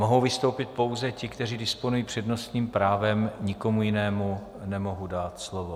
Mohou vystoupit pouze ti, kteří disponují přednostním právem, nikomu jinému nemohu dát slovo.